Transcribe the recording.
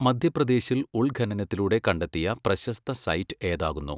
മധ്യപ്രദേശിൽ ഉൾഖനനത്തിലൂടെ കണ്ടെത്തിയ പ്രശസ്ത സൈറ്റ് ഏതാ കുന്നു?